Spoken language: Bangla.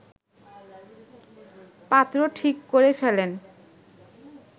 পাত্র ঠিক করে ফেলেন